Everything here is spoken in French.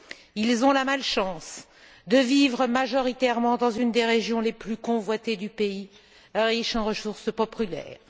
Ils ont la malchance de vivre majoritairement dans une des régions les plus convoitées du pays, riche en ressources populaires.